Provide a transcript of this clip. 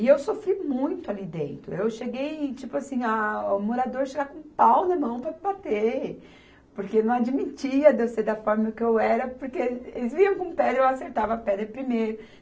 E eu sofri muito ali dentro, eu cheguei e tipo assim, ah, o morador chegar com um pau na mão para me bater, porque não admitia de eu ser da forma que eu era, porque eles vinham com pedra e eu acertava a pedra primeiro.